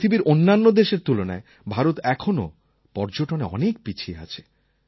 পৃথিবীর অন্যান্য দেশের তুলনায় ভারত এখনও পর্যটনে অনেক পিছিয়ে আছে